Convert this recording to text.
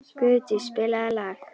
Guðdís, spilaðu lag.